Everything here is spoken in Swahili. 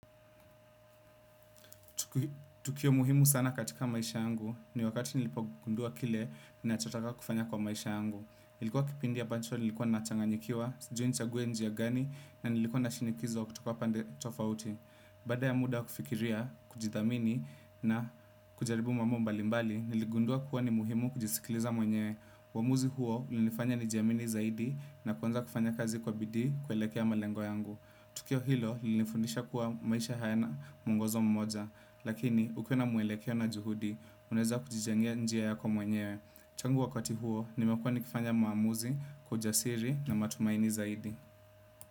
Tukio muhimu sana katika maisha yangu ni wakati nilipogundua kile ninachotaka kufanya kwa maisha yangu. Ilikuwa kipindi ambacho nilikuwa nachanganyikiwa, sijui nichague njia gani na nilikuwa na shinikizo kutoka pande tofauti. Baada ya muda kufikiria, kujithamini na kujaribu mambo mbalimbali, niligundua kuwa ni muhimu kujisikiliza mwenyewe. Uamuzi huo ulinifanya nijiamini zaidi na kuanza kufanya kazi kwa bidii kuelekea malengo yangu. Tukio hilo lilinifundisha kuwa maisha hayana muongozo mmoja. Lakini, ukiwa na mwelekeo na juhudi, unaeza kujijengea njia yako mwenyewe. Changu wakati huo, nimekuwa nikifanya maamuzi, kwa ujasiri na matumaini zaidi.